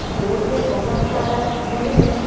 Road में बहुत सारा भीड़ है।